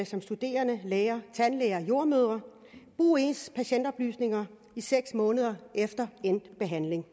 som studerende læger tandlæger jordemødre bruge ens patientoplysninger i seks måneder efter endt behandling